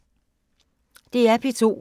DR P2